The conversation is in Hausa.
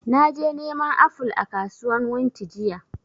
Naje neman aful a kasuwan wunti jiya